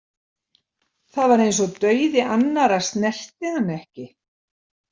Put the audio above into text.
Það var eins og dauði annarra snerti hann ekki.